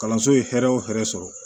Kalanso ye hɛrɛ o hɛrɛ sɔrɔ